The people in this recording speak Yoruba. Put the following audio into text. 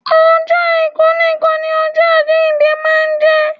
Ọjọ́ àìkú nìkan ni ọjọ àjíǹde máa ń jẹ́